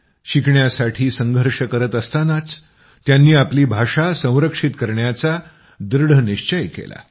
शिकण्यासाठी संघर्ष करत असतानाच त्यांनी आपली भाषा संरक्षित करण्याचा दृढ निश्चय केला